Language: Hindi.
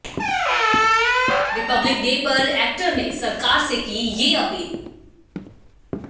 रिपब्लिक डे पर एक्टर ने सरकार से की ये अपील